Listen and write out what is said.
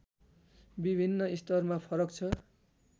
विभिन्न स्तरमा फरक छ